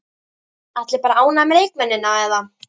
Allir bara ánægðir með leikmennina eða?